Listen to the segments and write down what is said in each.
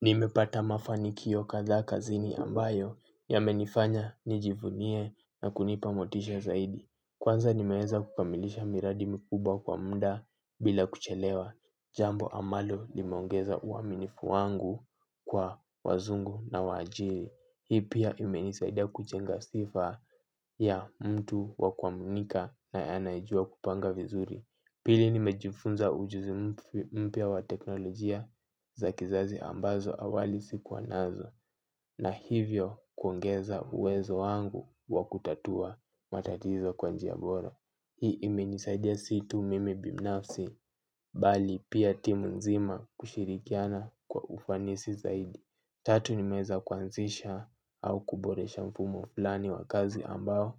Nimepata mafani kio kadhaa kazini ambayo ya menifanya nijivunie na kunipamotisha zaidi. Kwanza nimeeza kukamilisha miradi mikubwa kwa mda bila kuchelewa. Jambo amalo limeongeza uaminifu wangu kwa wazungu na waajiri. Hii pia imenisaida kujenga sifa ya mtu wakwamunika na anayejua kupanga vizuri. Pili nimejifunza ujuzi mpia wa teknolojia za kizazi ambazo awali sikuwa nazo na hivyo kuongeza uwezo wangu wa kutatua matatizo kwanjia bora. Hii ime nisaidia situ mimi binafsi bali pia timu nzima kushirikiana kwa ufanisi zaidi. Tatu nimeweza kuanzisha au kuboresha mfumo fulani wa kazi ambao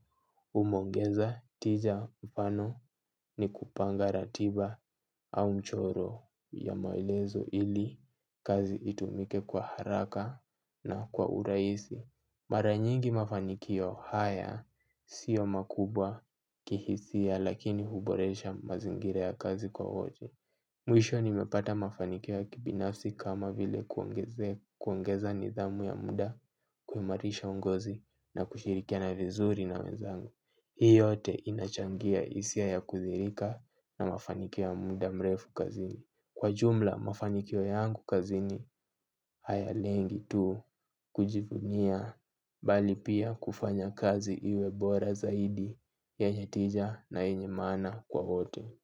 umeongeza tija mfano ni kupanga ratiba au mchoro ya maelezo ili kazi itumike kwa haraka na kwa uraisi. Maranyingi mafanikio haya sio makubwa kihisia lakini huboresha mazingira ya kazi kwa oji. Mwisho nimepata mafanikio ya kibinafsi kama vile kuongezea kuongeza nidhamu ya mda kuimarisha ungozi na kushirikia na vizuri na wezangu. Hii yote inachangia hisia ya kuthirika na mafanikio ya muda mrefu kazini. Kwa jumla mafanikio yangu kazini haya lengi tu kujivunia bali pia kufanya kazi iwebora zaidi yenyetija na yenye maana kwa wote.